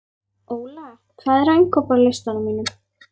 Óla, hvað er á innkaupalistanum mínum?